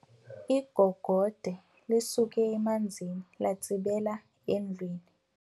Igogode lisuke emanzini latsibela endlwini.